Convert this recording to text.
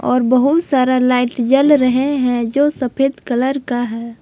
और बहुत सारा लाइट जल रहे हैं जो सफेद कलर का है।